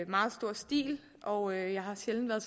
meget stor stil og jeg har sjældent været